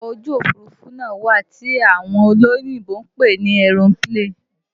Ọkọ ojú Òfurufú náà wà tí àwọn olóyìnbo ń pè ní aeroplane